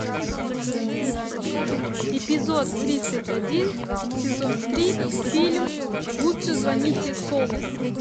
эпизод тридцать один сезон три фильм лучше звоните солу